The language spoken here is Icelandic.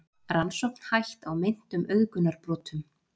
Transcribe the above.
Rannsókn hætt á meintum auðgunarbrotum